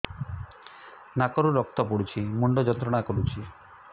ନାକ ରୁ ରକ୍ତ ପଡ଼ୁଛି ମୁଣ୍ଡ ଯନ୍ତ୍ରଣା କରୁଛି